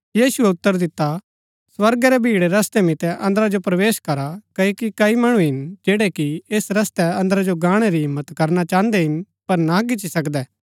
यीशुऐ उतर दिता स्वर्गा रै भीड़ै रस्तै मितै अन्दरा जो प्रवेश करा क्ओकि कई मणु हिन जैड़ै कि ऐस रस्तै अन्दरा जो गाहणै री हिम्मत करना चाहन्दै हिन पर ना गिची सकदै